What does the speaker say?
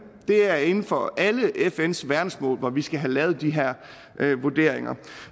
det er inden for alle fns verdensmål at vi skal have lavet de her vurderinger